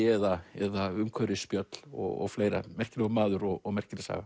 eða eða umhverfisspjöll og fleira merkilegur maður og merkileg saga